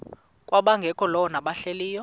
kwabangekakholwa nabahlehli leyo